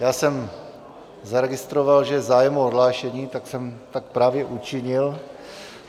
Já jsem zaregistroval, že je zájem o odhlášení, tak jsem tak právě učinil.